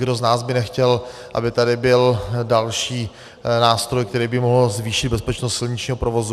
Kdo z nás by nechtěl, aby tady byl další nástroj, který by mohl zvýšit bezpečnost silničního provozu?